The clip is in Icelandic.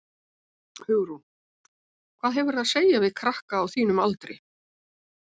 Hugrún: Hvað hefurðu að segja við aðra krakka á þínum aldri?